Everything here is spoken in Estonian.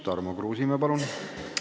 Tarmo Kruusimäe, palun!